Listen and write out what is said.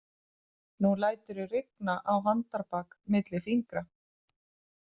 Nú læturðu rigna á handarbak milli fingra